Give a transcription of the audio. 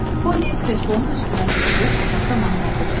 Pony kreslonun üstünə sıçrayıb otaqda mahnı oxudu.